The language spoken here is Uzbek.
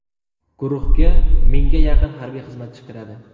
Guruhga mingga yaqin harbiy xizmatchi kiradi.